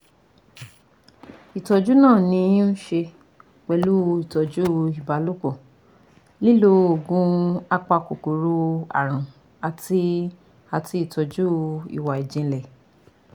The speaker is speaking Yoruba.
Ìtọ́jú náà ní í um ṣe pẹ̀lú ìtọ́jú ìbálòpọ̀, lílo oògùn apakòkòrò àrùn àti àti ìtọ́jú ìwà ìjìnlẹ̀